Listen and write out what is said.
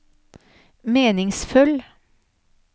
meningsfull